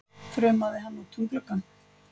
þrumaði hann út um gluggann.